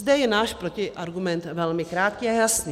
Zde je náš protiargument velmi krátký a jasný.